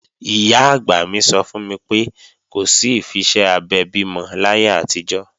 Ìyá-àgbà mi sọ fún mi pé, kò sí ìfiṣẹ́ abẹ bímọ láyé àtijọ́